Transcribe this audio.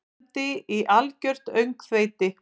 Það stefndi í algjört öngþveiti.